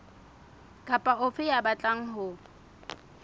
kapa ofe ya batlang ho